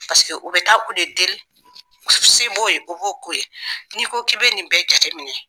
Paseke o bɛ taa u de deli se b'o ye, o b'o ko ye, n'i ko k'i bɛ nin bɛɛ jate minɛ.